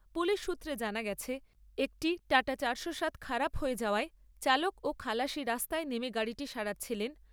Police সূত্রে জানা গেছে, একটি টাটা চারশো সাত খারাপ হয়ে যাওয়ায় চালক ও খালাসি রাস্তায় নেমে গাড়িটি সারাচ্ছিলেন।